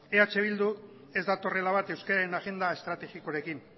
eh bildu ez datorrela bat euskararen agenda estrategikoarekin